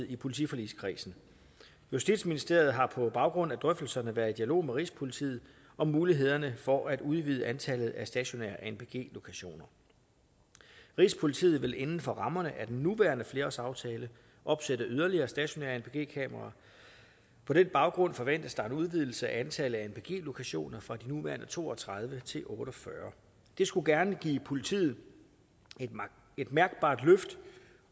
i politiforligskredsen justitsministeriet har på baggrund af drøftelserne været i dialog med rigspolitiet om mulighederne for at udvide antallet af stationære anpg lokationer rigspolitiet vil inden for rammerne af den nuværende flerårsaftale opsætte yderligere stationære anpg kameraer på den baggrund forventes der en udvidelse af antallet af anpg lokationer fra de nuværende to og tredive til otte og fyrre det skulle gerne give politiet et mærkbart løft